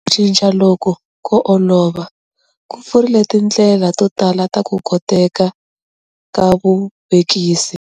Ku cinca loku ko olova ku pfurile tindlela to tala ta ku koteka ka vuvekisi.